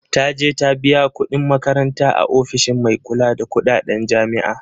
Taje ta biya kuɗin makaranta a ofishin mai kula da kuɗaɗen jami'a